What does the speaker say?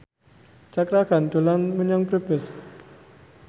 Cakra Khan dolan menyang Brebes